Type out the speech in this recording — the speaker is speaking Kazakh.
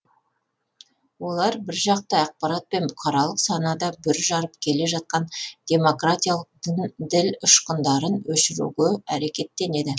олар біржақты ақпаратпен бұқаралық санада бүр жарып келе жатқан демократиялық діл ұшқындарын өшіруге әрекеттенеді